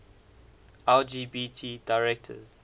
lgbt directors